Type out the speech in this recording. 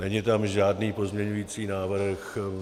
Není tam žádný pozměňovací návrh.